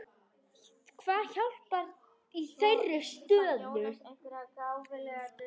Hvað hjálpar í þeirri stöðu?